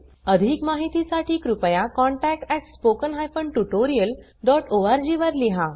अधिक माहितीसाठी कृपया contact at spoken hyphen tutorial dot org वर लिहा